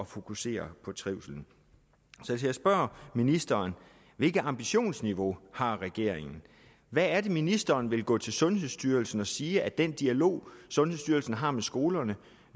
fokusere på trivslen så jeg spørger ministeren hvilket ambitionsniveau har regeringen hvad er det ministeren vil gå til sundhedsstyrelsen og sige at den dialog sundhedsstyrelsen har med skolerne